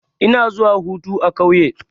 Ina zuwa hutu a ƙauye.